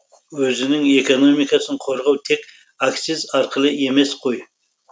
өзінің экономикасын қорғау тек акциз арқылы емес қой